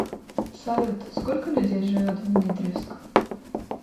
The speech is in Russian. салют сколько людей живет в дмитриевск